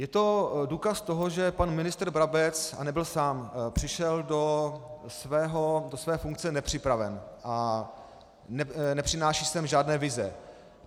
Je to důkaz toho, že pan ministr Brabec, a nebyl sám, přišel do své funkce nepřipraven a nepřináší sem žádné vize.